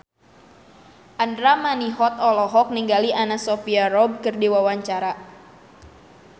Andra Manihot olohok ningali Anna Sophia Robb keur diwawancara